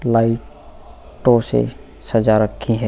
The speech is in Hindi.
लाइटों से सजा रखी है।